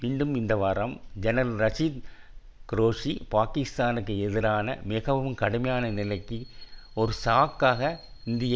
மீண்டும் இந்த வாரம் ஜெனரல் ரஷீத் குரேஷி பாக்கிஸ்தானுக்கு எதிரான மிகவும் கடுமையான நிலைக்கு ஒரு சாக்காக இந்திய